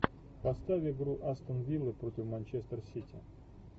поставь игру астон виллы против манчестер сити